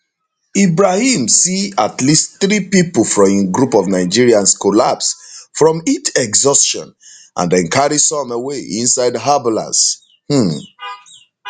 ibrahim see at least three pipo from im group of nigerians collapse from heat exhaustion and dem carry some away inside ambulance um